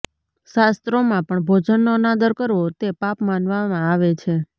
શાસ્ત્રોમાં પણ ભોજનનો અનાદર કરવો તે પાપ માનવામાં આવે છે